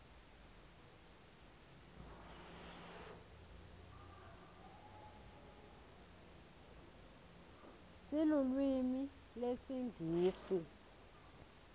sinlulwimi lesinqisi